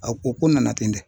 A ko ko nana ten dɛ.